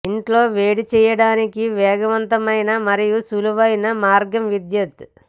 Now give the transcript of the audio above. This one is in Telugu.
ఇంట్లో వేడి చేయడానికి వేగవంతమైన మరియు సులువైన మార్గం విద్యుత్